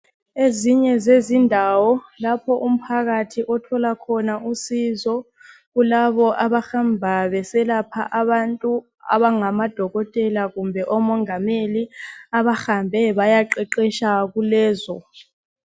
Ezinye zezindawo lapho umphakathi othola khona usizo kulabo abahamba beselapha abantu abangamadokotela kumbe omongameli abahambe bayaqeqetsha kulezo.